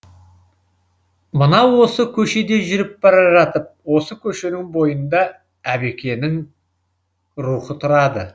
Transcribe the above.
мына осы көшеде жүріп бара жатып осы көшенің бойында әбекенің рухы тұрады